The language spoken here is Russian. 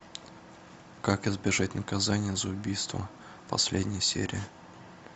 как избежать наказания за убийство последняя серия